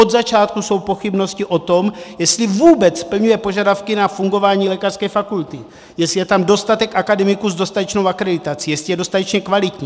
Od začátku jsou pochybnosti o tom, jestli vůbec splňuje požadavky na fungování lékařské fakulty, jestli je tam dostatek akademiků s dostatečnou akreditací, jestli je dostatečně kvalitní.